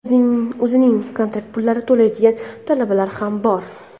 o‘zining kontrakt pulini to‘layotgan talabalar ham bor.